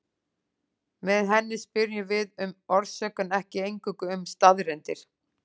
Með henni spyrjum við um orsök en ekki eingöngu um staðreyndir.